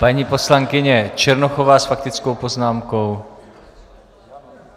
Paní poslankyně Černochová s faktickou poznámkou.